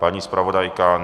Paní zpravodajka?